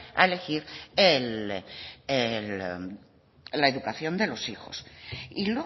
a elegir la educación de los hijos y